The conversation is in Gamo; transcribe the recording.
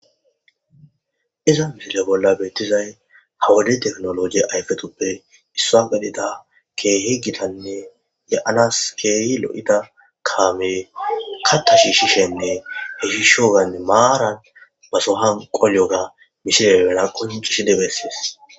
Iza misile bolla beettizay hawade teknoloji ayfetuppe issa galida keehe gitanne ya7anas keeyi lo7ida kaame katta shi shishenne he hishoganne maaran baso hanqolyoga mishilebena koncishi debessees